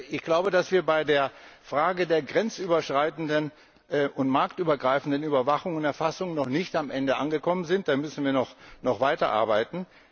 Ich glaube, dass wir bei der Frage der grenzüberschreitenden und marktübergreifenden Überwachung und Erfassung noch nicht am Ende angekommen sind, da müssen wir noch weiterarbeiten.